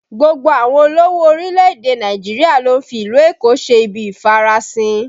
Gbogbo àwọn olówó orílẹ̀ èdè Nàìjíríà ló ń fi ìlú Èkó ṣe ibi ìfarasin